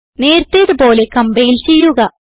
നേരത്തേത് പോലെ കംപൈൽ ചെയ്യുക